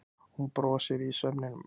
Hún brosir í svefninum.